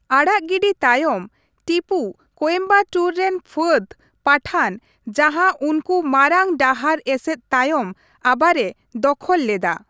ᱟᱲᱟᱜ ᱜᱤᱰᱤ ᱛᱟᱭᱚᱢ, ᱴᱤᱯᱩ ᱠᱳᱭᱮᱢᱵᱟᱴᱳᱨ ᱨᱮᱱ ᱯᱷᱟᱹᱫ ᱯᱟᱴᱷᱟᱱ ᱡᱟᱦᱟ ᱩᱱᱠᱩ ᱢᱟᱨᱟᱝ ᱰᱟᱦᱟᱨ ᱮᱥᱮᱫ ᱛᱟᱭᱚᱢ ᱟᱵᱟᱨᱮ ᱫᱚᱠᱷᱚᱞ ᱞᱮᱫᱟ ᱾